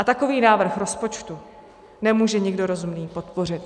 A takový návrh rozpočtu nemůže nikdo rozumný podpořit.